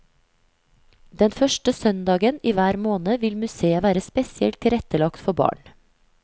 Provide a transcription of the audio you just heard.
Den første søndagen i hver måned vil museet være spesielt tilrettelagt for barn.